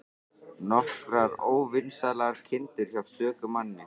Nokkrar óvinsælar kindur hjá stöku manni.